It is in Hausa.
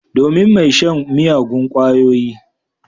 Domin mai shan miyagun kwayoyi.